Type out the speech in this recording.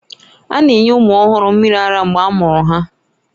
A na-enye ụmụ ọhụrụ mmiri ara mgbe a mụrụ ha